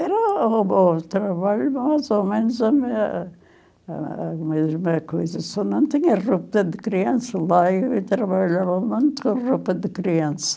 Era o trabalho, mas, ao menos, a minha a mesma coisa são tinha roupa de criança, lá eu trabalhava muito com a roupa de criança.